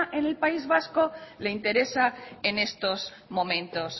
en el país vasco le interesa en estos momentos